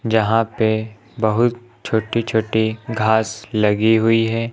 जहां पे बहुत छोटी छोटी घास लगी हुई है।